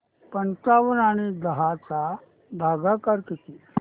पंचावन्न आणि दहा चा भागाकार किती